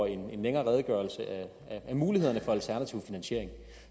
en længere redegørelse om mulighederne for alternativ finansiering